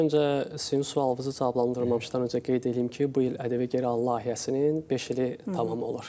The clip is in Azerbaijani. İlk öncə sizin sualınızı cavablandırmamışdan öncə qeyd eləyim ki, bu il ƏDV geri al layihəsinin beş ili tamam olur.